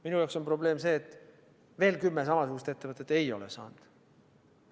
Minu jaoks on probleem see, et veel kümme samasugust ettevõtet ei ole saanud.